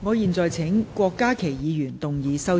我現在請郭家麒議員動議修正案。